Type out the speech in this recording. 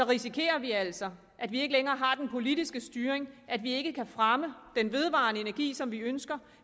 risikerer vi altså at vi ikke længere har den politiske styring at vi ikke kan fremme den vedvarende energi som vi ønsker